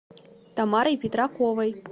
тамарой петраковой